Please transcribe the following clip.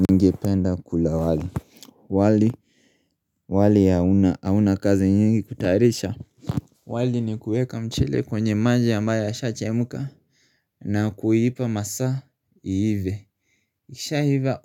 Ningependa kula wali, wali. Wali hauna kazi nyingi kutarisha. Wali ni kueka mchele kwenye maji ambayo yasha chemuka. Na kuipa masaa iive ikisha iva